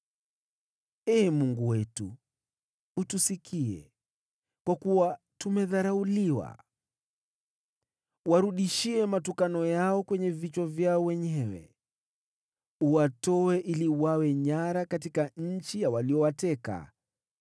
Ee Mungu wetu, utusikie, kwa kuwa tumedharauliwa. Warudishie matukano yao kwenye vichwa vyao wenyewe. Uwatoe ili wawe nyara katika nchi ya waliowateka.